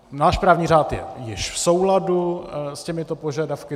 Náš právní řád je již v souladu s těmito požadavky.